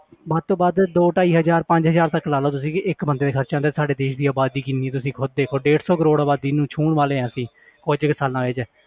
ਵੱਧ ਤੋਂ ਵੱਧ ਦੋ ਢਾਈ ਹਜ਼ਾਰ ਪੰਜ ਹਜ਼ਾਰ ਤੱਕ ਲਾ ਲਓ ਤੁਸੀਂ ਕਿ ਇੱਕ ਬੰਦੇ ਤੇ ਖ਼ਰਚਾ ਆਉਂਦਾ ਸਾਡੇ ਦੇਸ ਦੀ ਆਬਾਦੀ ਕਿੰਨੀ ਹੈ ਤੁਸੀਂ ਖੁੱਦ ਦੇਖੋ ਡੇਢ ਸੌ ਕਰੌੜ ਆਬਾਦੀ ਨੂੰ ਛੂੰਹਣ ਵਾਲੇ ਹਾਂ ਅਸੀਂ ਕੁੱਝ ਕੁ ਸਾਲਾਂ ਵਿੱਚ